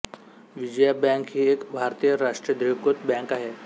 Vijaya bank ही एक भारतीय राष्ट्रीयीकृत बँक आहे